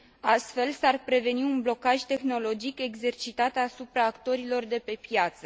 Astfel, s ar preveni un blocaj tehnologic exercitat asupra actorilor de pe piață.